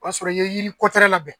O b'a sɔrɔ i ye yiri kɔtɛrɛ labɛn.